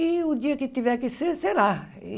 E o dia que tiver que ser, será.